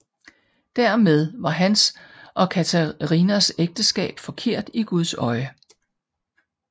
Dermed var hans og Katharinas ægteskab forkert i Guds øjne